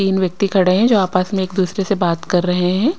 तीन व्यक्ति खड़े हैं जो आपस में एक दूसरे से बात कर रहे हैं।